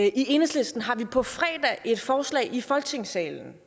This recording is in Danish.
i enhedslisten har vi på fredag et forslag i folketingssalen